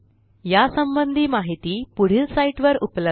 या संबंधी माहिती पुढील साईटवर उपलब्ध आहे